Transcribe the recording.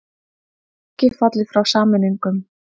Ekki fallið frá sameiningum